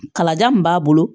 Kalaja min b'a bolo